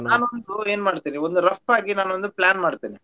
ನಾನು ಒಂದು ಏನ್ ಮಾಡ್ತೇನೆ ಅಂದ್ರೆ rough ಗಿ ನಾನೊಂದು plan ಮಾಡ್ತೇನೆ.